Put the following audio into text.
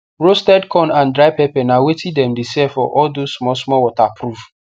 roasted corn and dry pepper na wetin dem de sell for all those small small waterproof